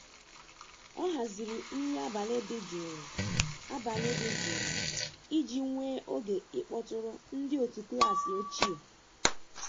O haziri nri abalị dị jụụ abalị dị jụụ iji nwee oge ịkpọtụrụ ndị otu klas ochie.